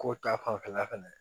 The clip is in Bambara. Ko ta fanfɛla fɛnɛ